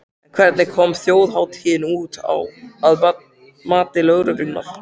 En hvernig kom þjóðhátíðin út, að mati lögreglunnar?